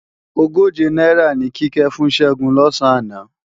Ogóje náírà ni Kíkẹ́ fún Ṣẹ́gun lọ̀sán àná